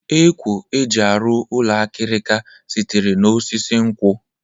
Ekwo e ji arụ ụlọ akịrịka sitere n'osisi nkwọ